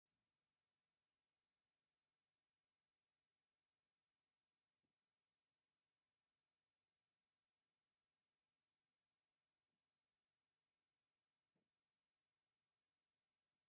ካሮት ምስ ቆፅሉ ተማሕዩ በብምድብ ተኣሲሩ እኒሆ፡፡ ከምዚ ዓይነት ኣመዳድባ እንዳዞርካ ንምሻጥ ይጠቅም፡፡ ብኸምዚ መልክዑ ዝሽየጥ ካሮት ርኢኹም ዶ ትፈልጡ?